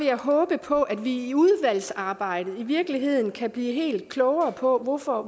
jeg håbe på at vi i udvalgsarbejdet i virkeligheden kan blive klogere på hvorfor